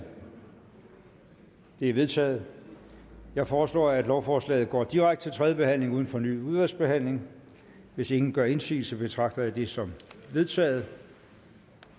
det er vedtaget jeg foreslår at lovforslaget går direkte til tredje behandling uden fornyet udvalgsbehandling hvis ingen gør indsigelse betragter jeg det som vedtaget